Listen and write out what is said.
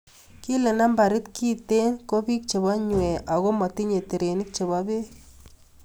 Kile nambarit kintee ko biik che bo nywee ako motinye terenik che bo beek.